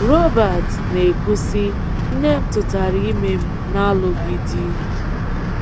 Robert na-ekwu sị: “Nne m tụtara ime m n’alụghị di.